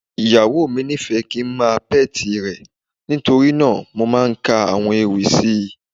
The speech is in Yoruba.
Ìyàwó mi nífẹ̀ẹ́ kíi ń máa pẹ́ti rẹ̀, nítorí náà mo máa ń ka àwọn ewì sí i.